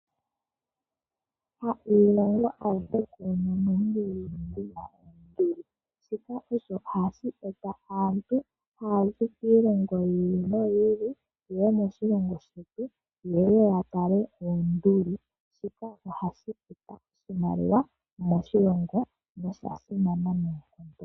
Ha iilongo ayihe yina oonduli, shika ohashi eta aantu yaza kiilongo yimwe yeye moshilongo shetu ya tale oonduli. Ohashi eta oshimaliwa moshilongo noshasimana.